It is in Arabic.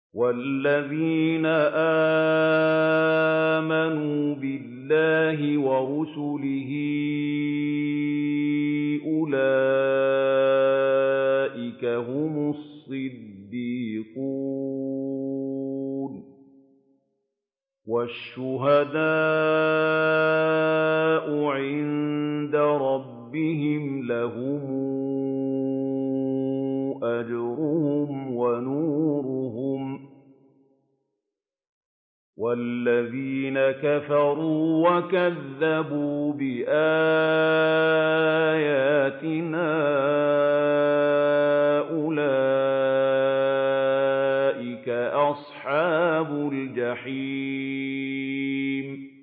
وَالَّذِينَ آمَنُوا بِاللَّهِ وَرُسُلِهِ أُولَٰئِكَ هُمُ الصِّدِّيقُونَ ۖ وَالشُّهَدَاءُ عِندَ رَبِّهِمْ لَهُمْ أَجْرُهُمْ وَنُورُهُمْ ۖ وَالَّذِينَ كَفَرُوا وَكَذَّبُوا بِآيَاتِنَا أُولَٰئِكَ أَصْحَابُ الْجَحِيمِ